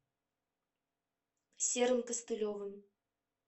серым костылевым